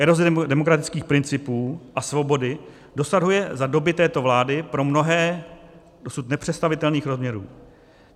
Eroze demokratických principů a svobody dosahuje za doby této vlády pro mnohé dosud nepředstavitelných rozměrů.